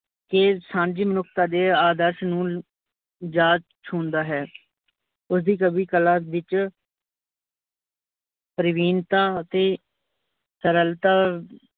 ਕੇ ਸਾਂਝੀ ਮਨੁੱਖਤਾ ਦੇ ਆਦਰਸ਼ ਨੂੰ ਜਾ ਛੂਨਦਾ ਹੈ। ਉਸਦੀ ਕਵੀ ਕੱਲਾ ਵਿੱਚ ਪਰਿਵੀਨਤਾ ਅਤੇ ਸਰਲਤਾ